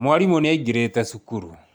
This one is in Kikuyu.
Mwarimu ni aingirite cukuru